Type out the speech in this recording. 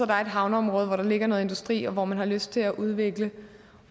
der er et havneområde hvor der ligger noget industri og hvor man har lyst til at udvikle